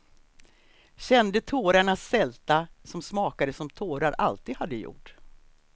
Kände tårarnas sälta, som smakade som tårar alltid hade gjort.